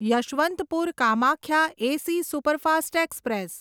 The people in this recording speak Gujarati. Yesvantpur Kamakhya AC superfast express